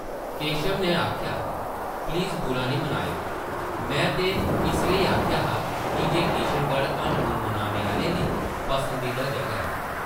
केशव नै आखेआ, प्लीज़, बुरा नेईं मनाओ; में ते इस लेई आखेआ हा की जे किशनगढ़ हनीमून मनाने आह्लें दी पसंदीदा जगह ऐ ।